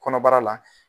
Kɔnɔbara la